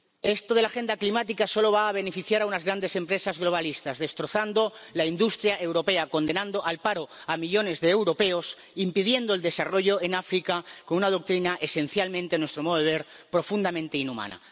Esto de la agenda climática solo va a beneficiar a unas grandes empresas globalistas, destrozando la industria europea, condenando al paro a millones de europeos, e impidiendo el desarrollo en África, con una doctrina esencialmente, a nuestro modo de ver, profundamente inhumana.